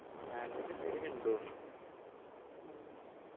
salary അത്യാവശ്യം ഉണ്ട് തോന്നുന്നു